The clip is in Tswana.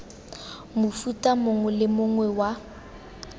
mofuta mongwe le mongwe wa